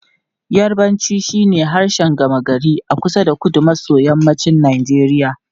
Yarbanci shine harshen gama gari a kusa da kudu maso yammacin Najeriya.